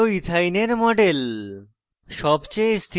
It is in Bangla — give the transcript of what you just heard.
এটি হল ethyne ইথাইন এর model